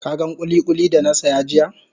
Ka gan kulikuli da na saya jiya?